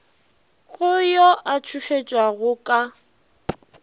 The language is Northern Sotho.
go yo a tšhošetšwago ka